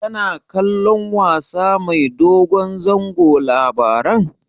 Kana kallon wasa mai dogon zango Labaran?